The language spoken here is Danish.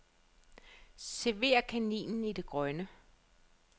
Server kaninen i det grønne.